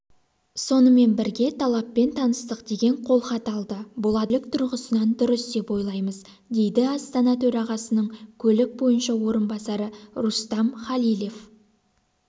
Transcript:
сонымен бірге талаппен таныстық деген қолхат алды бұл адамгершілік тұрғысынан дұрыс деп ойлаймыз дейді астана төрағасының көлік бойынша орынбасары рустам халилев